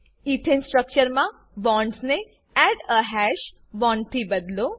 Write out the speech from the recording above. ethane structure મા બોન્ડ્સને add a hash bond થી બદલો